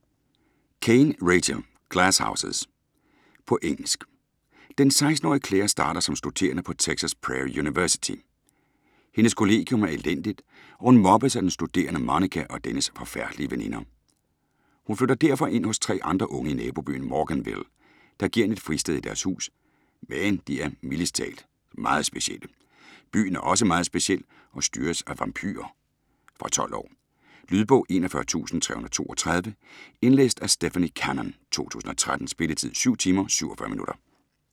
Caine, Rachel: Glass houses På engelsk. Den 16-årige Claire starter som studerende på Texas Prairie University. Hendes kollegium er elendigt, og hun mobbes af den studerende Monica og dennes forfærdelige veninder. Hun flytter derfor ind hos tre andre unge i nabobyen Morganville, der giver hende et fristed i deres hus, men de er mildest talt meget specielle. Byen er også meget speciel og styres af vampyrer. Fra 12 år. Lydbog 41332 Indlæst af Stephanie Cannon, 2013. Spilletid: 7 timer, 47 minutter.